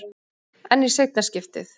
En í seinna skiptið?